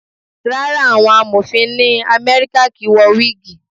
Rárá, àwọn Amọ̀fin ni Amẹ́ríkà kì ń wọ wígìì.